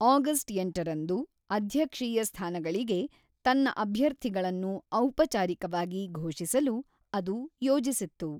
August ಎಂಟರಂದು ಅಧ್ಯಕ್ಷೀಯ ಸ್ಥಾನಗಳಿಗೆ ತನ್ನ ಅಭ್ಯರ್ಥಿಗಳನ್ನು ಔಪಚಾರಿಕವಾಗಿ ಘೋಷಿಸಲು ಅದು ಯೋಜಿಸಿತ್ತು.